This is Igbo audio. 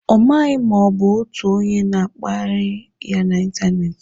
Ọ maghị na ọ bụ otu onye na-akpagharị ya n'ịntanetị.